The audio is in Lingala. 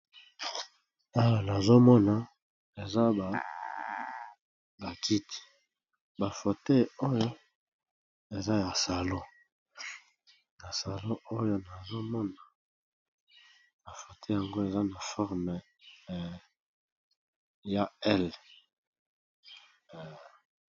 Awa nazomona eza ba kiti ba fauteuil oyo eza ya salon na salon oyo nazomona ba fauteuil yango eza na forme ya L.